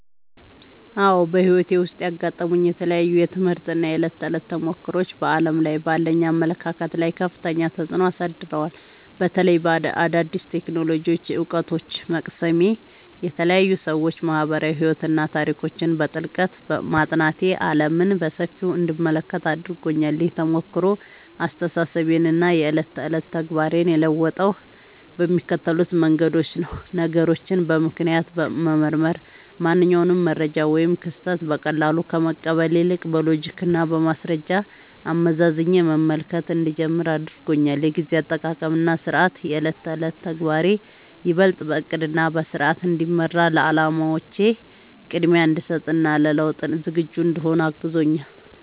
አዎ፣ በሕይወቴ ውስጥ ያጋጠሙኝ የተለያዩ የትምህርት እና የዕለት ተዕለት ተሞክሮዎች በዓለም ላይ ባለኝ አመለካከት ላይ ከፍተኛ ተጽዕኖ አሳድረዋል። በተለይም አዳዲስ የቴክኖሎጂ እውቀቶችን መቅሰሜ፣ የተለያዩ የሰዎች ማኅበራዊ ሕይወትና ታሪኮችን በጥልቀት ማጥናቴ ዓለምን በሰፊው እንድመለከት አድርጎኛል። ይህ ተሞክሮ አስተሳሰቤንና የዕለት ተዕለት ተግባሬን የለወጠው በሚከተሉት መንገዶች ነው፦ ነገሮችን በምክንያት መመርመር፦ ማንኛውንም መረጃ ወይም ክስተት በቀላሉ ከመቀበል ይልቅ፣ በሎጂክና በማስረጃ አመዛዝኜ መመልከት እንድጀምር አድርጎኛል። የጊዜ አጠቃቀምና ሥርዓት፦ የዕለት ተዕለት ተግባሬ ይበልጥ በዕቅድና በሥርዓት እንዲመራ፣ ለዓላማዎቼ ቅድሚያ እንድሰጥ እና ለለውጥ ዝግጁ እንድሆን አግዞኛል።